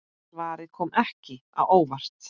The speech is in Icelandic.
Svarið kom ekki á óvart.